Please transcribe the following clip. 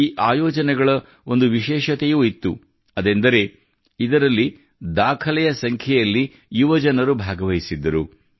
ಈ ಆಯೋಜನೆಗಳ ಒಂದು ವಿಶೇಷತೆಯೂ ಇತ್ತು ಅದೆಂದರೆ ಇದರಲ್ಲಿ ದಾಖಲೆಯ ಸಂಖ್ಯೆಯಲ್ಲಿ ಯುವಜನರು ಭಾಗವಹಿಸಿದ್ದರು